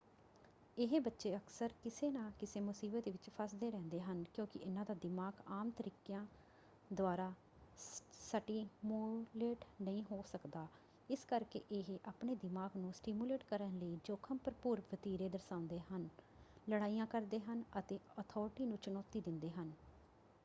ਇਹ ਬੱਚੇ ਅਕਸਰ ਕਿਸੇ ਨਾ ਕਿਸੇ ਮੁਸੀਬਤ ਵਿੱਚ ਫੱਸਦੇ ਰਹਿੰਦੇ ਹਨ ਕਿਉਂਕਿ ਇਨ੍ਹਾਂ ਦਾ ਦਿਮਾਗ ਆਮ ਤਰੀਕਿਆਂ ਦੁਆਰਾ ਸਟਿਮੂਲੇਟ ਨਹੀਂ ਹੋ ਸਕਦਾ ਇਸ ਕਰਕੇ ਇਹ ਆਪਣੇ ਦਿਮਾਗ ਨੂੰ ਸਟਿਮੂਲੇਟ ਕਰਨ ਲਈ ਜੋਖਮ ਭਰਪੂਰ ਵਤੀਰੇ ਦਰਸਾਉਂਦੇ ਹਨ ਲੜਾਈਆਂ ਕਰਦੇ ਹਨ ਅਤੇ ਅਥਾਰਟੀ ਨੂੰ ਚੁਣੌਤੀ ਦਿੰਦੇ ਹਨ”।